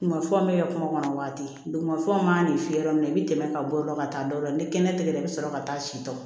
Mafɛnw bɛ kɛ kungo kɔnɔ waati duguma fɔ ma i ye yɔrɔ min i bi tɛmɛ ka bɔ o yɔrɔ ka taa dɔ la ni kɛnɛ tigɛra i bi sɔrɔ ka taa si tɔ